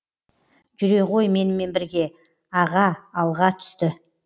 жүре ғой менімен бірге аға алға түсті